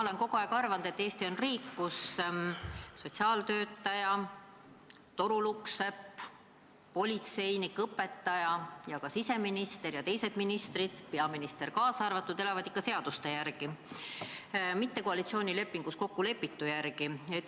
Ma olen kogu aeg arvanud, et Eesti on riik, kus sotsiaaltöötaja, torulukksepp, politseinik, õpetaja ja ka siseminister ja teised ministrid, peaminister kaasa arvatud, elavad ikka seaduste järgi, mitte koalitsioonilepingus kokkulepitu järgi.